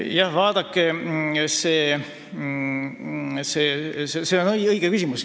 Jah, see on õige küsimus.